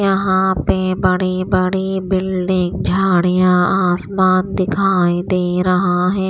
यहां पे बड़ी बड़ी बिल्डिंग झाड़ियां आसमान दिखाई दे रहा है।